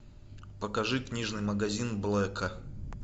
покажи книжный магазин блэка